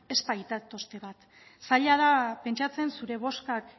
ez baitatozte bat zaila da pentsatzen zure bozkak